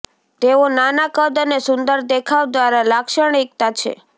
તેઓ નાના કદ અને સુંદર દેખાવ દ્વારા લાક્ષણિકતા છે